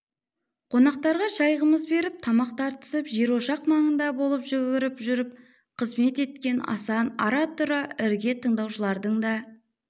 қонақтарға шай қымыз беріп табақ тартысып жер-ошақ маңында болып жүгіріп жүріп қызмет еткен асан ара-тұра ірге тыңдаушылардың да